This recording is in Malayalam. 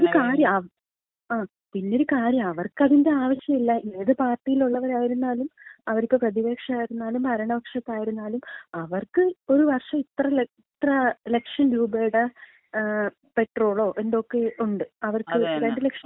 പിന്നൊരു കാര്യം അവർക്കതിന്‍റെ ങാ, പിന്നൊര് കാര്യം അവർക്കതിന്‍റെ ആവശ്യല്ല. ഏത് പാർട്ടിയിലൊള്ളവരായിരുന്നാലും അവർക്ക് പ്രതിപക്ഷം ആയിരുന്നാലും ഭരണപക്ഷത്തായാലും അവർക്ക് ഒരു വർഷം ഇത്ര ലക്ഷം രൂപയുടെ പെട്രോളോ എന്തൊക്കെയോണ്ട് അവര്‍ക്ക് 2 ലക്ഷം രൂപയുടെ.